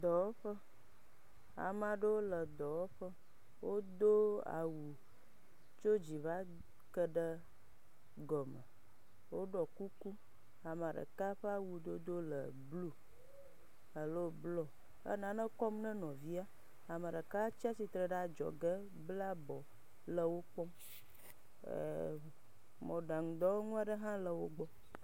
Dɔwɔƒe, ame aɖewo le dɔwɔƒe, wodo awu tso dzi va ke ɖe gɔme, woɖɔ kuku. Ame ɖeka ƒe awu dodo le blue alo blɔ, enane kɔm na nɔvia. Ame ɖeka tsi atsitre ɖe adzɔge bla abɔ le wo kpɔm, eeemƐ, mɔɖaŋudɔwɔnu aɖe hã le wogbɔ.